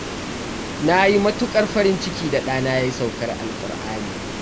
Na yi matuƙar farin ciki da ɗana ya yi saukar alƙur'ani.